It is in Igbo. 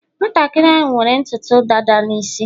nwantakịrị ahụ nwere ntutu dada n isi